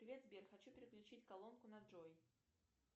привет сбер хочу переключить колонку на джой